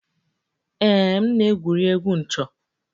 Ee m na-egwuri egwu 'ncho'